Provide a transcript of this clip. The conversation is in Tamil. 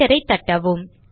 என்டர் ஐ தட்டவும்